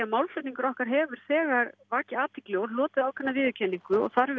málaflutningur okkar hefur þegar vakið athygli og hlotið ákveðna viðurkenningu þar